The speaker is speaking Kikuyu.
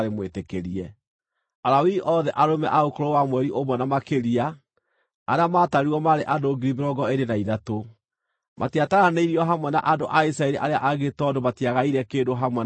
Alawii othe arũme a ũkũrũ wa mweri ũmwe na makĩria arĩa maatarirwo maarĩ andũ 23,000. Matiataranĩirio hamwe na andũ a Isiraeli arĩa angĩ tondũ matiagaire kĩndũ hamwe na andũ arĩa angĩ.